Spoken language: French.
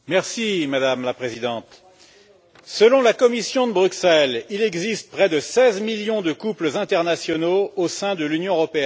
Madame la Présidente, selon la Commission de Bruxelles, il existe près de 16 millions de couples internationaux au sein de l'Union européenne.